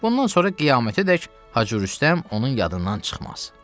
Bundan sonra qiyamətədek Hacı Rüstəm onun yadından çıxmaz.